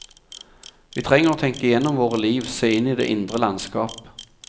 Vi trenger å tenke igjennom våre liv, se inn i det indre landskap.